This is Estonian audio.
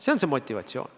See on see motivatsioon.